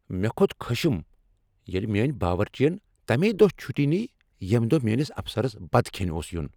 مےٚ کھوٚت خشم ییٚلہ میٲنۍ باورچی ین تمی دۄہ چھٹی نیہ ییٚمہ دۄہہ میٲنس افسرس بتہٕ کھیٚنہ اوس ین۔